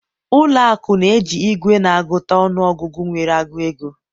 ụlọ akụ na-eji igwe na-agụta ọnụ ọgụgụ nwere agụ ego